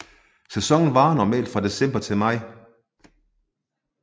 Sæsonen varer normalt fra december til maj